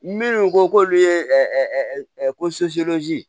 Minnu ko k'olu ye ko